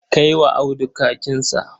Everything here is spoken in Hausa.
Kai wa Audu kakinsa.